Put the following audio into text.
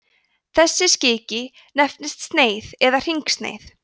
þessi skiki nefnist sneið eða hringsneið